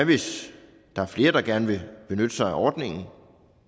hvis der er flere der gerne vil benytte sig af ordningen